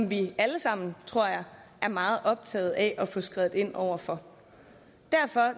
vi alle sammen er meget optaget af at få skredet ind over for